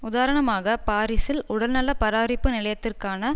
உதாரணமாகப் பாரிசில் உடல்நல பராரிப்பு நிலையத்திற்கான